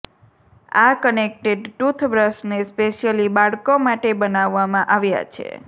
આ કનેકટેડ ટૂથબ્રશને સ્પેશ્યલી બાળકો માટે બનાવવામાં આવ્યા છે